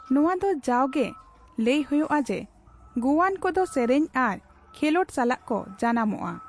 ᱱᱚᱣᱟ ᱫᱚ ᱡᱟᱣᱜᱮ ᱞᱟᱹᱭ ᱦᱳᱭᱳᱜᱼᱟ ᱡᱮ ᱜᱳᱣᱟᱱ ᱠᱚᱫᱚ ᱥᱮᱨᱮᱧ ᱟᱨ ᱠᱷᱮᱞᱳᱰ ᱥᱟᱞᱟᱜ ᱠᱚ ᱡᱟᱱᱟᱢᱚᱜᱼᱟ ᱾